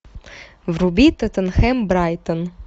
вруби тоттенхэм брайтон